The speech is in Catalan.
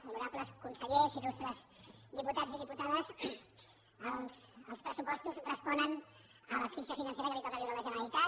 honorables consellers illustres diputats i diputades els pressupostos responen a l’asfíxia financera que li toca viure a la generalitat